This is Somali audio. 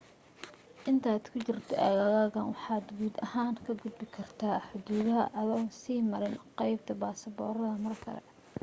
intaad ku jirto aaggan waxaad guud ahaan ka gudbi kartaa xuduudaha adoon sii marin qaybta baasboorada mar kale